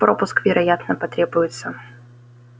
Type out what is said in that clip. пропуск вероятно потребуется